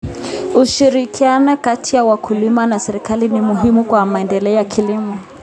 Ushirikiano kati ya wakulima na serikali ni muhimu kwa maendeleo ya kilimo.